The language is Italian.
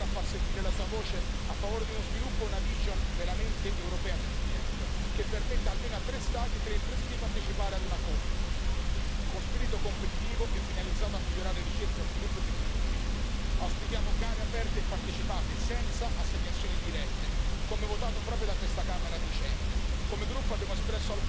Il Parlamento dovrà continuare a far sentire la sua voce a favore di uno sviluppo e una visione veramente europea dell'EDF, che permetta almeno a tre Stati e a tre imprese di partecipare ad una call, con spirito competitivo e finalizzato a migliorare ricerca, sviluppo e tecnologie. Auspichiamo gare aperte e partecipate senza assegnazioni dirette, come votato proprio da questa Camera a dicembre.